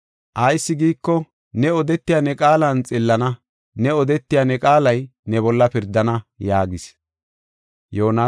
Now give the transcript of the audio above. Ayis giiko, ne odetiya ne qaalan xillana; ne odetiya ne qaalay ne bolla pirdana” yaagis.